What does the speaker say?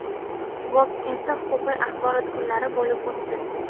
Vobkentda huquqiy axborot kunlari bo‘lb o‘tdi.